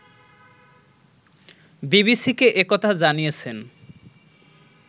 বিবিসিকে একথা জানিয়েছেন